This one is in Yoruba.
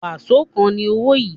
Waṣo kan ni owo yin